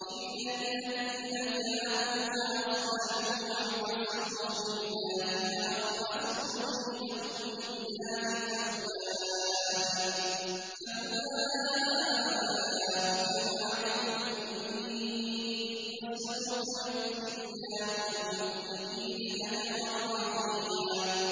إِلَّا الَّذِينَ تَابُوا وَأَصْلَحُوا وَاعْتَصَمُوا بِاللَّهِ وَأَخْلَصُوا دِينَهُمْ لِلَّهِ فَأُولَٰئِكَ مَعَ الْمُؤْمِنِينَ ۖ وَسَوْفَ يُؤْتِ اللَّهُ الْمُؤْمِنِينَ أَجْرًا عَظِيمًا